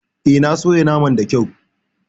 Eh, na soya naman da kyau.